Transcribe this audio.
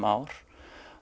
ár